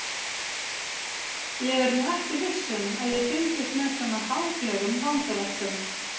Ég er nú ekki viss um að ég fylgist með svona háfleygum vangaveltum.